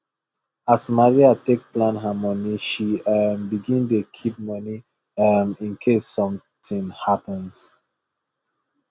as maria take plan her money she um begin dey keep money um in case something happens